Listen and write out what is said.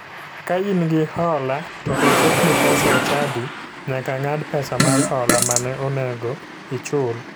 Ka in gi hola to ochokni pesa e chadi, nyaka ng'ad pesa mar hola mane onego ichul.